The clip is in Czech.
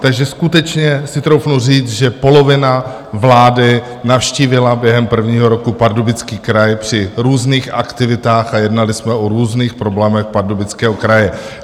Takže skutečně si troufnu říct, že polovina vlády navštívila během prvního roku Pardubický kraj při různých aktivitách a jednali jsme o různých problémech Pardubického kraje.